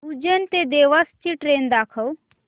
उज्जैन ते देवास ची ट्रेन दाखव